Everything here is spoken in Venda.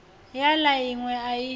ya la inwe a i